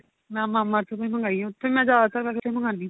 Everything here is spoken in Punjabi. ਮੈਂ mama earth ਦੀ ਮੰਗਾਈ ਏ ਉੱਥੇ ਮੈਂ ਮੰਗਾਦੀ